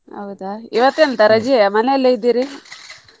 ಹೌದಾ ಇವತ್ತು ಎಂತ ರಜೆಯ ಮನೆಯಲ್ಲೇ ಇದಿರಿ? .